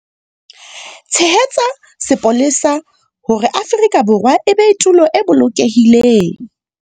Tshehetsa sepolesa hore Afrika Borwa e be tulo e bolokehileng.